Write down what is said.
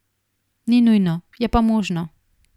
Ni nujno, je pa možno.